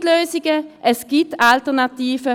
Es gibt Lösungen, es gibt Alternativen.